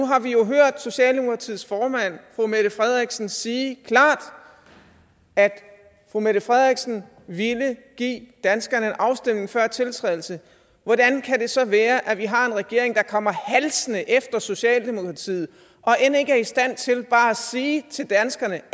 har vi jo hørt socialdemokratiets formand fru mette frederiksen sige klart at fru mette frederiksen ville give danskerne en afstemning før tiltrædelse hvordan kan det så være at vi har en regering der kommer halsende efter socialdemokratiet og end ikke er i stand til bare at sige til danskerne